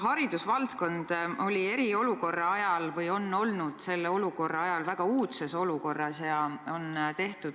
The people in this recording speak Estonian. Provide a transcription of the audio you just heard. Haridusvaldkond on eriolukorra ajal olnud väga uudses olukorras.